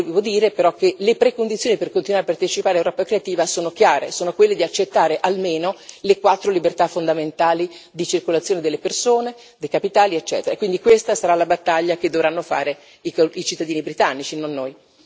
Devo dire però che le precondizioni per continuare a partecipare a Europa creativa sono chiare, sono quelle di accettare almeno le quattro libertà fondamentali di circolazione delle persone, dei capitali, eccetera. Quindi, questa sarà la battaglia che dovranno fare i cittadini britannici, non noi.